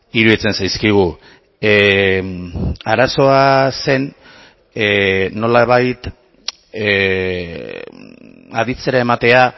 iruditzen zaizkigu arazoa zen nolabait aditzera ematea